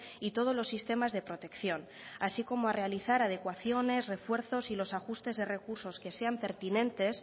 y todos los sistemas de protección así como a realizar adecuaciones refuerzos y los ajustes de recursos que sean pertinentes